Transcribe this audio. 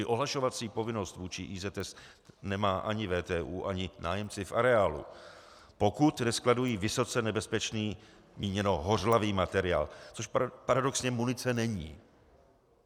I ohlašovací povinnost vůči IZS nemá ani VTÚ ani nájemci v areálu, pokud neskladují vysoce nebezpečný, míněno hořlavý, materiál, což paradoxně munice není.